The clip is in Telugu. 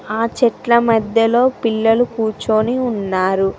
ఆ చెట్ల మధ్యలో పిల్లలు కూర్చొని ఉన్నారు.